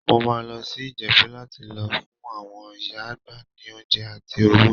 Mo máa lọ sí Ìjẹ̀bú láti lọ fún àwọn ìyá àgbà ní oúnjẹ àti owó.